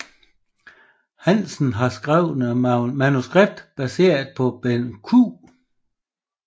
Hansen har skrevet manuskriptet baseret på Benn Q